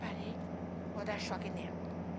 Parei, vou dar choque nela.